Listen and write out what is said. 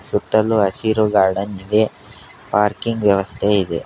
ಸುತ್ತಲು ಹಸಿರು ಗಾರ್ಡನ್ ಇದೆ ಪಾರ್ಕಿಂಗ್ ವ್ಯವಸ್ಥೆ ಇದೆ.